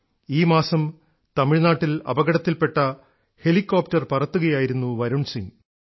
ഈ മാസം തമിഴ്നാട്ടിൽ അപകടത്തിൽപ്പെട്ട ഹെലികോപ്ടർ പറത്തുകയായിരുന്നു വരുൺ സിംഗ്